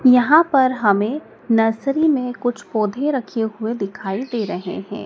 यहां पर हमें नर्सरी में कुछ पौधे रखे हुए दिखाई दे रहे हैं।